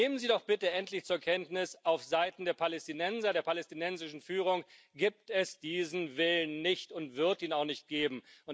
Nehmen Sie doch bitte endlich zur Kenntnis Aufseiten der Palästinenser, der palästinensischen Führung gibt es diesen Willen nicht, und es wird ihn auch nicht geben.